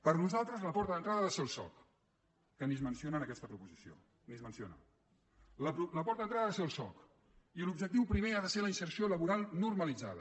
per nosaltres la porta d’entrada ha de ser el soc que ni es menciona en aquesta proposició ni es menciona la porta d’entrada ha de ser el soc i l’objectiu primer ha de ser la inserció laboral normalitzada